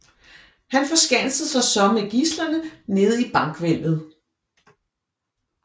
Han forskansede sig så med gidslerne nede i bankhvælvet